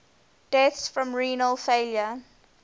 deaths from renal failure